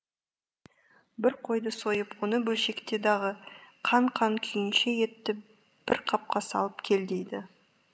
бір қойды сойып оны бөлшекте дағы қан қан күйінше етті бір қапқа салып кел дейді